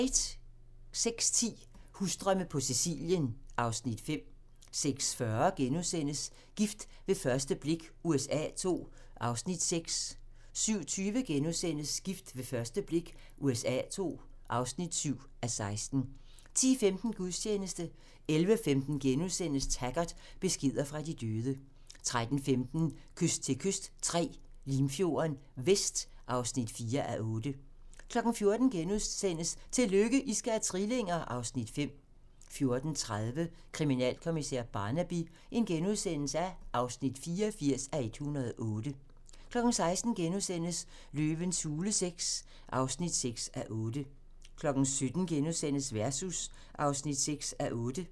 06:10: Husdrømme på Sicilien (Afs. 5) 06:40: Gift ved første blik USA II (6:16)* 07:20: Gift ved første blik USA II (7:16)* 10:15: Gudstjeneste 11:15: Taggart: Beskeder fra de døde * 13:15: Kyst til kyst III - Limfjorden Vest (4:8) 14:00: Tillykke, I skal have trillinger! (Afs. 5)* 14:30: Kriminalkommissær Barnaby (84:108)* 16:00: Løvens hule VI (6:8)* 17:00: Versus (6:8)*